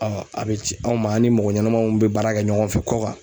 a bɛ ci anw ma an ni mɔgɔ ɲɛnamaw bɛ baara kɛ ɲɔgɔn fɛ kɔ kan.